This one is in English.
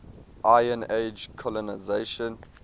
iron age colonisation